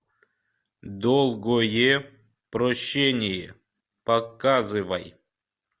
долгое прощение показывай